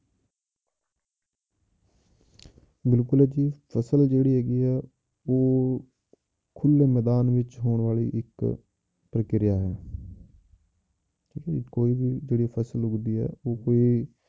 ਬਿਲਕੁਲ ਜੀ ਫਸਲ ਜਿਹੜੀ ਹੈਗੀ ਹੈ ਉਹ ਖੁੱਲੇ ਮੈਦਾਨ ਵਿੱਚ ਹੋਣ ਵਾਲੀ ਇੱਕ ਪ੍ਰਕਿਰਿਆ ਹੈ ਕੋਈ ਵੀ ਜਿਹੜੀ ਫਸਲ ਉੱਗਦੀ ਹੈ ਉਹ ਕੋਈ